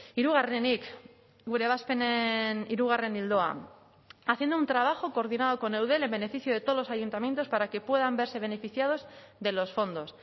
hirugarrenik gure ebazpenen hirugarren ildoa haciendo un trabajo coordinado con eudel en beneficio de todos los ayuntamientos para que puedan verse beneficiados de los fondos